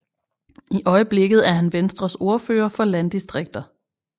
I øjeblikket er han Venstres ordfører for landdistrikter